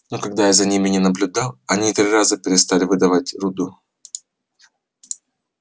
но когда я за ними не наблюдал они три раза переставали выдавать руду